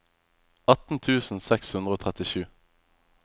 atten tusen seks hundre og trettisju